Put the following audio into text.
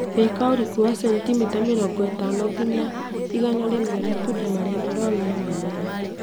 Thika ũriku wa sentimita mĩrongo ĩtano nginya igana rĩmwe matunda marĩa marũaru na mimera